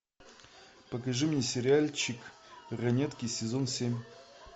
покажи мне сериальчик ранетки сезон семь